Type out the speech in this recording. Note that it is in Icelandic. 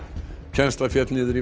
kennsla féll niður í